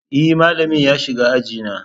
E, malamin ya shiga aji na.